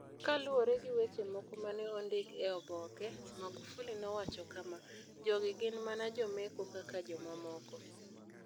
Kaluwore gi weche moko ma ne ondik e oboke, Magufuli nowacho kama: "Jogi gin mana jomecho kaka jomamoko.